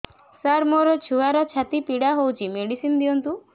ସାର ମୋର ଛୁଆର ଛାତି ପୀଡା ହଉଚି ମେଡିସିନ ଦିଅନ୍ତୁ